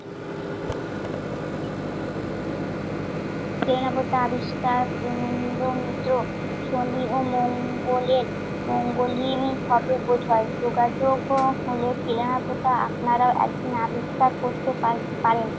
Train আবিষ্কার শনি ও মঙ্গলের মঙ্গলহীনভাবে বুঝায়, শোকাতুরতো প্লেনওতো একদিন আপনারাই আবিষ্কার করতে পারব~ পারেন।